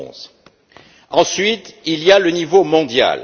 2011. Ensuite, il y a le niveau mondial.